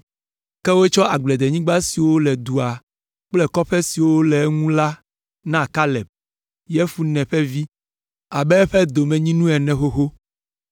Ke wotsɔ agblenyigba siwo le dua kple kɔƒe siwo le eŋu la na Kaleb, Yefune ƒe vi, abe eƒe domenyinu ene xoxo.